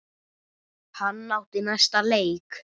Hann átti næsta leik.